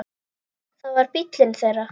Það var bíllinn þeirra.